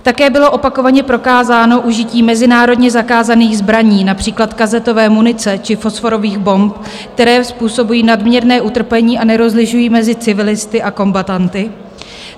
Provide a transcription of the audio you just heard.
Také bylo opakovaně prokázáno užití mezinárodně zakázaných zbraní, například kazetové munice či fosforových bomb, které způsobují nadměrné utrpení a nerozlišují mezi civilisty a kombatanty.